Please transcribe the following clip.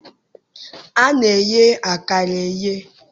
A na-eye akara eye.